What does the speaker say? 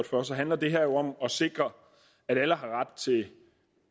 for handler det her jo om at sikre at alle har ret til